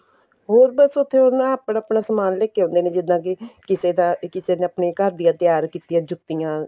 ਹੋਰ ਬੱਸ ਉੱਥੇ ਉਹਨਾ ਆਪਣਾ ਆਪਣਾ ਸਮਾਨ ਲੈਕੇ ਆਉਦੇ ਨੇ ਜਿੱਦਾਂ ਕੇ ਕਿਸੇ ਦਾ ਕਿਸੇ ਨੇ ਆਪਣੇ ਘਰ ਦੀਆ ਤਿਆਰ ਕੀਤੀਆਂ ਜੁੱਤੀਆਂ